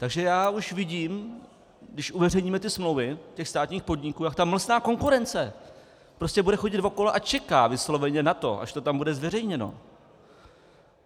Takže já už vidím, když uveřejníme ty smlouvy těch státních podniků, jak ta mlsná konkurence prostě bude chodit okolo a čeká vysloveně na to, až to tam bude zveřejněno.